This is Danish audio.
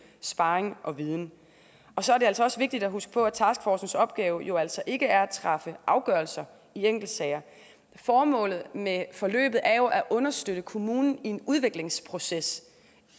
sparring og viden så er det også vigtigt at huske på at taskforcens opgave jo altså ikke er at træffe afgørelser i enkeltsager formålet med forløbet er at understøtte kommunen i en udviklingsproces